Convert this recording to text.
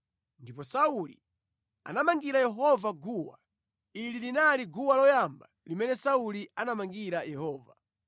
Ndipo Sauli anamangira Yehova guwa. Ili linali guwa loyamba limene Sauli anamangira Yehova.